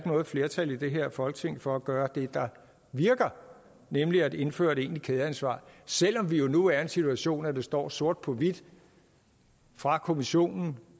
noget flertal i det her folketing for at gøre det der virker nemlig at indføre et egentligt kædeansvar selv om vi jo nu er i en situation at det står sort på hvidt fra kommissionen